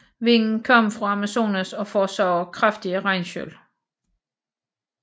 Vinden kommer fra Amazonas og forårsager kraftige regnskyl